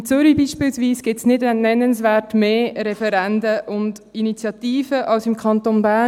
In Zürich beispielsweise gibt es nicht nennenswert mehr Referenden und Initiativen als im Kanton Bern.